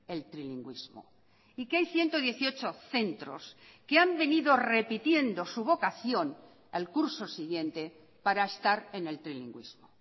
el trilingüismo y que hay ciento dieciocho centros que han venido repitiendo su vocación al curso siguiente para estar en el trilingüismo